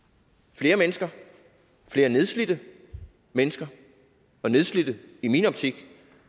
flere mennesker flere nedslidte mennesker og nedslidte i min optik